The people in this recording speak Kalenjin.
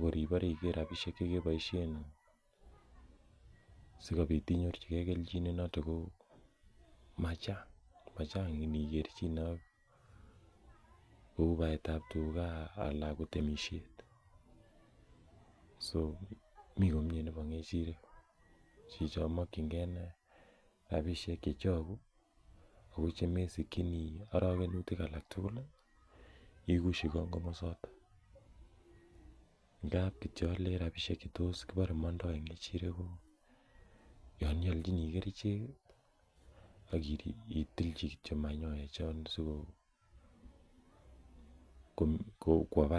kor ibore iker rapisiek chekeboisien sikobit inyorchigee kelchin noton ko machang inikerchine ak kou baetab tuga ana ko temisiet so mii komie nebo ng'echirek chichon mokyingee inei rapisiek chechogu ako chemesikyinii orokenutik alak tugul ih ikusyi kong komosoton ngap alen kityo rapisiek che tos kilenen mondoo en ng'echirek ko yon iolchinii kerichek ih ak itilchi kityo manyoek chon kwo barak